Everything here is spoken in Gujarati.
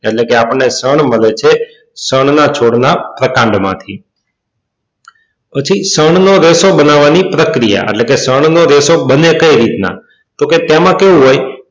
એટલે કે આપણને ષણ મળે છે ષણ ના છોડ ના પ્રકાંડ માં થી પછી ષણ નો રેશો બનવવા ની પ્રક્રિયા એટલે કે ષણ નો રેશો બને કઈ રીત નાં તો કે તેમાં કેવું હોય